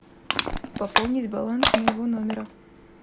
пополнить баланс моего номера